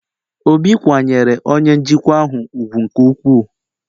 Obi kwanyere onye njikwa ahụ ugwu nke ukwuu